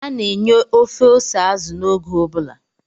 A na-enye ofe ose azụ n'oge ọ bụla